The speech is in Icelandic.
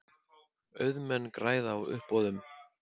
Auðmenn græða á uppboðum